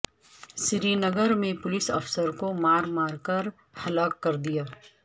سرینگر میں پولیس افسر کو مارمار کر ہلاک کردیا